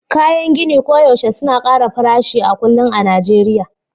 kayan gini koyaushe suna ƙara farashi a kullum a Najeriya